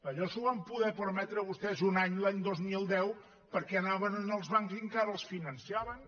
allò s’ho van poder permetre vostès un any l’any dos mil deu perquè anaven als bancs i encara els finançaven